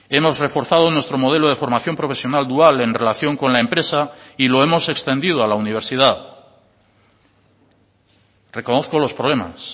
hemos reforzado nuestro modelo de formación profesional dual en relación con la empresa y lo hemos extendido a la universidad reconozco los problemas